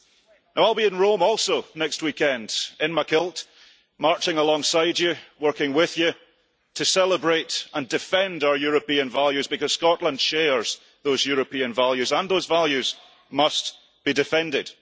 I will also be in Rome next weekend, in my kilt, marching alongside you, working with you, to celebrate and defend our European values, because Scotland shares those European values and those values must be defended.